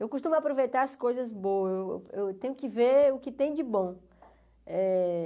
Eu costumo aproveitar as coisas boas, eu eu tenho que ver o que tem de bom eh.